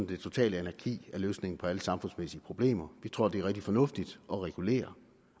det totale anarki er løsningen på alle samfundsmæssige problemer vi tror det er rigtig fornuftigt at regulere